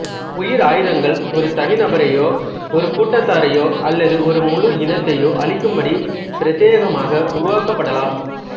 உயிரி ஆயுதங்கள் ஒரு தனி நபரையோ ஒரு கூட்டத்தாரையோ அல்லது ஒரு முழு இனத்தையோ அழிக்கும் படி பிரத்யேகமாக உருவாக்கபடலாம்